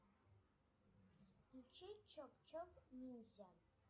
включи чоп чоп ниндзя